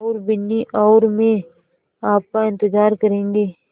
और बिन्नी और मैं आपका इन्तज़ार करेंगे